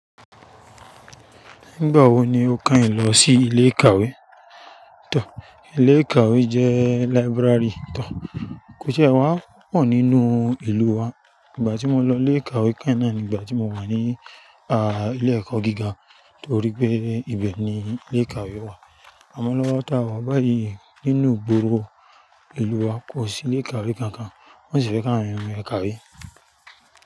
Nígbà wo ni o kàn yén lọ sí ilé ìkàwé? Tọ, ilé ìkàwé jẹ́ library tọ. Kó ṣe wàá pọ̀ nínú ìlú wa. Ìgbà tí mo lọ ilé ìkàwé kan náà ni ìgbà tí mo wà ní á ilé ẹ̀kọ́ gíga, torí pé ibẹ̀ ni ilé ìkàwé wà. A mọ lọ́wọ́ ta wọ báyi nínú ìgboro ìlú wa kò sí ilé ìkàwé kankan wọ́n sì fẹ́ kàn àwon yén mo ìkàwé.